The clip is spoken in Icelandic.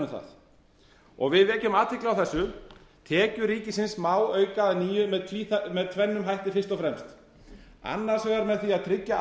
um það við vekjum athygli á þessu tekjur ríkisins má auka að nýju með tvennum hætti fyrst og fremst annars vegar með því að tryggja